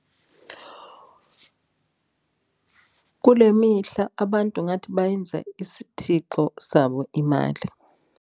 Kule mihla abantu ngathi bayenza isithixo sabo imali.